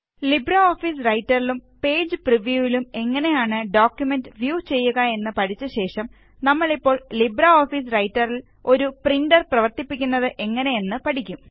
LibreOffice റൈറ്ററിലും page പ്രിവ്യൂവിലും എങ്ങനെയാണ് ഡോക്കുമെന്റ് വ്യൂ ചെയ്യുക എന്ന് പഠിച്ച ശേഷംനമ്മളിപ്പോൾ ലിബ്രെഓഫീസ് റൈറ്ററില് ഒരു പ്രിന്റര് പ്രവര്ത്തിക്കുന്നത് എങ്ങനെയാണ് എന്ന് പഠിക്കും